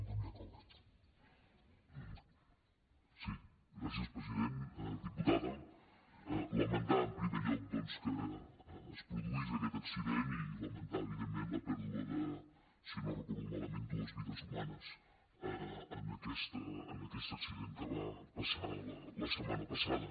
diputada lamentar en primer lloc doncs que es produís aquest accident i lamentar evidentment la pèrdua de si no ho recordo malament dues vides humanes en aquest accident que va passar la setmana passada